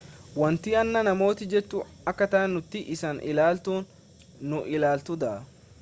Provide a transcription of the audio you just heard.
wanti ani namootan jedhu akkaata nuti isin ilaallutti nu ilaaltuudha